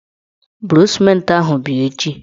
Buru sịmentị ahụ bịa echi!